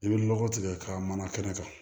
I bɛ lɔgɔ tigɛ k'a mana kɛnɛ kan